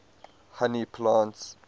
honey plants